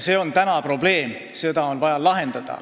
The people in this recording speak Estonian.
See on probleem, mis on vaja lahendada.